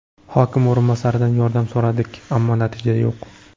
Hokim o‘rinbosaridan yordam so‘radik, ammo natija yo‘q.